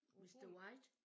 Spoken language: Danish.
Mr. White